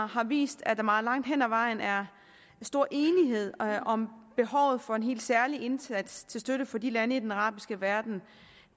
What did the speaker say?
har vist at der meget langt hen ad vejen er stor enighed om behovet for en helt særlig indsats til støtte for de lande i den arabiske verden